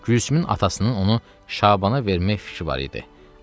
Gülsümün atasının onu Şabana vermək fikri var idi.